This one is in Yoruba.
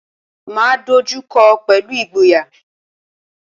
Máa dojú kọọ́ pẹ̀lú ìgboyà.